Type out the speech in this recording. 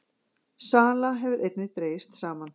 Sala hefur einnig dregist saman